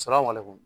Sira kɔni